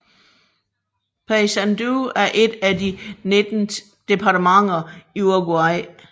Paysandú er et af de 19 departementer i Uruguay